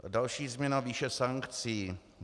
Další změna - výše sankcí.